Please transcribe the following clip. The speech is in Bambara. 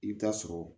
I bɛ taa sɔrɔ